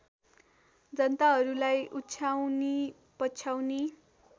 जनताहरूलाई उछाउनी पछाउनी